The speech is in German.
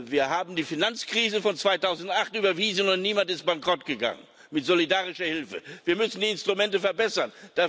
Wir haben die Finanzkrise von 2008 überwunden und niemand ist bankrott gegangen mit solidarischer Hilfe. Wir müssen die Instrumente verbessern.